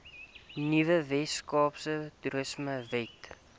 nuwe weskaapse toerismewet